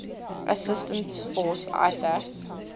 assistance force isaf